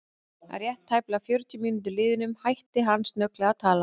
Að rétt tæplega fjörutíu mínútum liðnum hætti hann snögglega að tala.